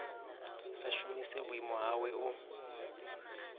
sa shumise vhuimo hawe u